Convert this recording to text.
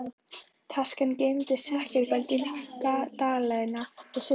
Taskan geymdi sekkjagjöldin, dalina og silfrið.